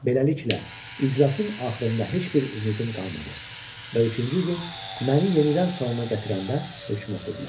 Beləliklə, iclasın axırında heç bir ümidim qalmadı və üçüncü gün məni yenidən salona gətirəndə hökm oxudular.